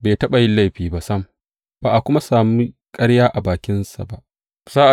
Bai taɓa yin laifi ba sam, ba a kuma sami ƙarya a bakinsa ba.